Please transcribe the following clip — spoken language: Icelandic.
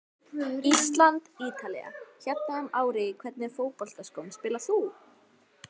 Ísland-Ítalía hérna um árið Í hvernig fótboltaskóm spilar þú?